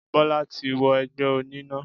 Bólá ti wo egbé oní náà